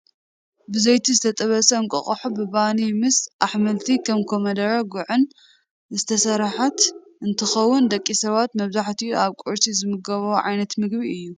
ብዘይቲ ዝተጠብሰ እንቋቑሖ ብባኒ ምስ ኣሕምልቲ ከም ኮሚደረን ጉዕን ዝተሰረሓት እንትከውን፣ ደቂ ሰባት መብዛሕቲኡ ኣብ ቁርሲ ዝምገብዎ ዓይነት ምግቢ እዩ።